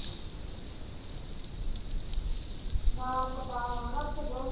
ਨਾਮ ਕਟਾ ਆਉਣਾ ਨਾ ਸਗੋਂ।